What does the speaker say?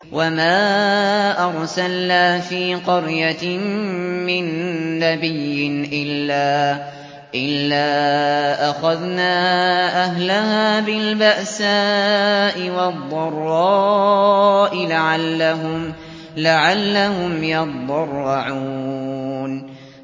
وَمَا أَرْسَلْنَا فِي قَرْيَةٍ مِّن نَّبِيٍّ إِلَّا أَخَذْنَا أَهْلَهَا بِالْبَأْسَاءِ وَالضَّرَّاءِ لَعَلَّهُمْ يَضَّرَّعُونَ